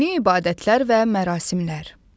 Dini ibadətlər və mərasimlər.